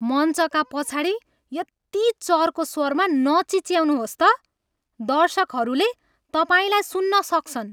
मञ्चका पछाडि यति चर्को स्वरमा नचिच्याउनुहोस् त। दर्शकहरूले तपाईँलाई सुन्न सक्छन्।